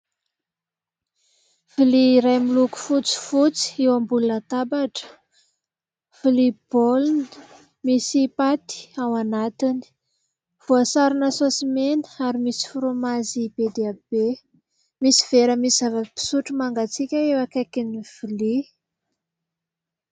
Lovia iray miloko fotsifotsy eo ambony latabatra. Lovia baolina misy paty ao anatiny, voasarona saody mena ary misy fraomazy be dia be. Misy vera misy zava-pisotro mangatsiaka eo ankaikin'ny lovia.